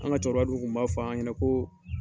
An ka cɛkɔrɔba du kun b' fɔ an ɲɛna ko